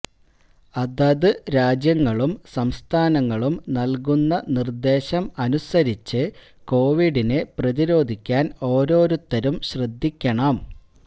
അതത് രാജ്യങ്ങളും സംസ്ഥാനങ്ങളും നൽകുന്ന നിർദ്ദേശം അനുസരിച്ച് കൊവിഡിനെ പ്രതിരോധിക്കാൻ ഓരോരുത്തരും ശ്രദ്ധിക്കണം